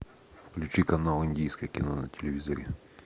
включи канал индийское кино на телевизоре